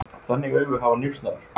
Þannig augu hafa njósnarar.